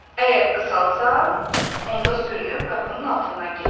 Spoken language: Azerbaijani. Əgər qısalasa, onda sürünüb qapının altından keçərəm.